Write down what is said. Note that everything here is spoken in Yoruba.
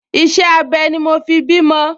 Iṣẹ́-abẹ ni mo fi bí ọmọ